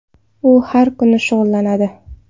U har kuni shug‘ullanadi.